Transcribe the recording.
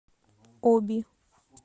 оби